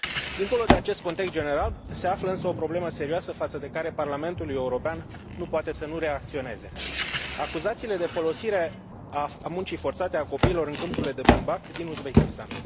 Dincolo de acest context general, se află însă o problemă serioasă, față de care Parlamentul European nu poate să nu reacționeze acuzațiile de folosire a muncii forțate a copiilor în câmpurile de bumbac din Uzbekistan.